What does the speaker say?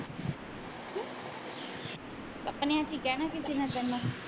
ਅਸੀ ਕਹਿਣਾ ਕੀ ਸੀ ਨਾ ਤੈਨੂੰ